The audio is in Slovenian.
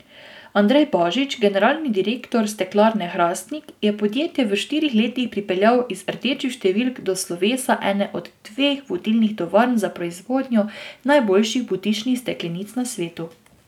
Andrej Božič, generalni direktor Steklarne Hrastnik, je podjetje v štirih letih pripeljal iz rdečih številk do slovesa ene od dveh vodilnih tovarn za proizvodnjo najboljših butičnih steklenic na svetu.